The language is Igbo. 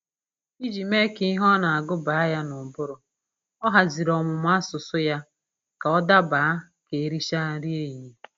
Iji mee ka ihe ọ na-agụ baa ya n'ụbụrụ, ọ haziri ọmụmụ asụsụ ya ka ọ daba ka e richara nri ehihie